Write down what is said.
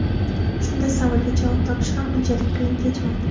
Shunda savolga javob topish ham unchalik qiyin kechmaydi.